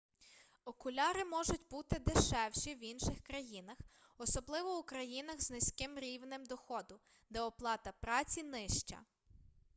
окуляри можуть буди дешевші в інших країнах особливо у країнах з низьким рівнем доходу де оплата праці нижча